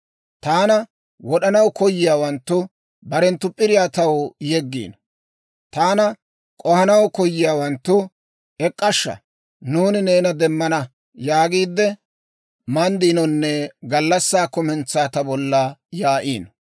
Taana wod'anaw koyiyaawanttu, barenttu p'iriyaa taw yeggiino. Taana k'ohanaw koyiyaawanttu, «ek'k'ashsha; nuuni neena demmana» yaagiide, manddiinonne gallassaa kumentsaa ta bolla yaa'iino.